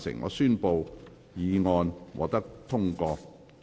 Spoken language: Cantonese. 我宣布議案獲得通過。